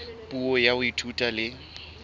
puo ya ho ithuta le